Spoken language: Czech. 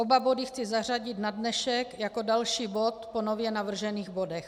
Oba body chci zařadit na dnešek jako další bod po nově navržených bodech.